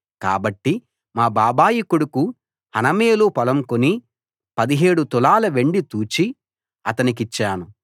కాబట్టి మా బాబాయి కొడుకు హనమేలు పొలం కొని 17 తులాల వెండి తూచి అతనికిచ్చాను